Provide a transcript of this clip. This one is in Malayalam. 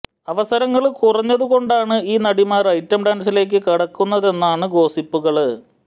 അവസരങ്ങള് കുറഞ്ഞതുക്കൊണ്ടാണ് ഈ നടിമാര് ഐറ്റം ഡാന്സിലേക്ക് കടക്കുന്നതെന്നാണ് ഗോസിപ്പുകള്